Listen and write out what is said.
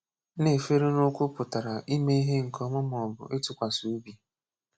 Na-èfèré n’ụ́kwụ́ pụtara ime ihe nke ọma ma ọ bụ ịtụkwasị obi.